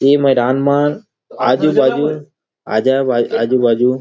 ए मैदान म आजू - बाजू आजा भाई आजू - बाजू।